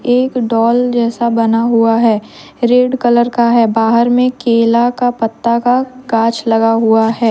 एक डाल जैसा बना हुआ है रेड कलर का है बाहर में केला का पत्ता का काछ लगा हुआ है।